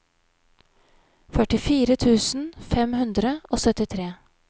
førtifire tusen fem hundre og syttitre